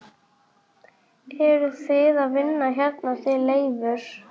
Eruð þið að vinna hérna þið Leifur?